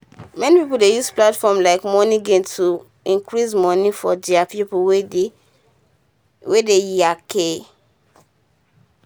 many pipo dey use platform like moneygram to um receive moni from deir pipo wey dey um yankee